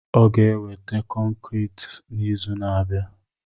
Ọ ga-eweta kọnkri n'izu na-abịa.